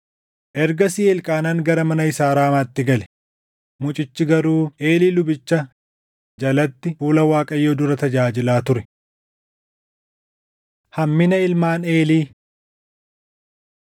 Ergasii Elqaanaan gara mana isaa Raamaatti gale; mucichi garuu Eelii lubicha jalatti fuula Waaqayyoo dura tajaajilaa ture. Hammina Ilmaan Eelii